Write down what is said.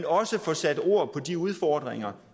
også får sat ord på de udfordringer